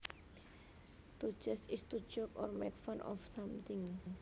To jest is to joke or make fun of something